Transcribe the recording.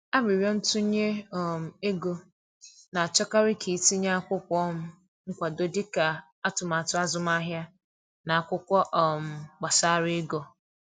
Aririo ntunye um ego, na achọkarị ka i tinye akwụkwọ um nkwado dị ka atụmatụ azụmahịa na akwụkwọ um gbasara ego